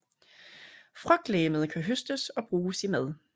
Frugtlegemet kan høstes og bruges i mad